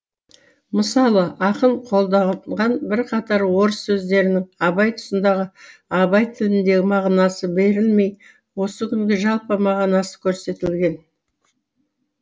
мысалы ақын қолданған бірқатар орыс сөздерінің абай тұсындағы абай тіліндегі мағынасы берілмей осы күнгі жалпы мағынасы көрсетілген